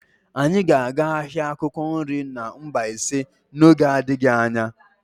Anyị ga-aga ahịa akwukwo nri na Mbaise n'oge n'adịghị anya.